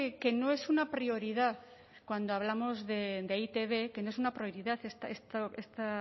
que no es una prioridad cuando hablamos de e i te be que no es una prioridad